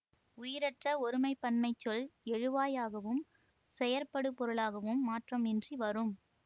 உயிரற்ற ஒருமை பன்மைச் சொல் எழுவாய் ஆகவும் செயற்படுபொருளாகவும் மாற்றம் இன்றி வரும்